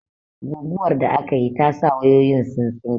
Guguwar da akayi ta sa wayoyin sun tsinke